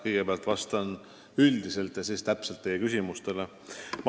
Kõigepealt vastan üldiselt ja siis otseselt teie küsimustele.